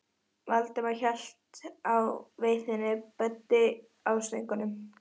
Valdimar hélt á veiðinni, Böddi á stöngunum.